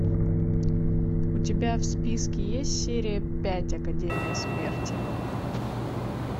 у тебя в списке есть серия пять академия смерти